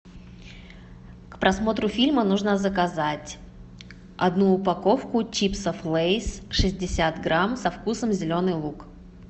к просмотру фильма нужно заказать одну упаковку чипсов лейс шестьдесят грамм со вкусом зеленый лук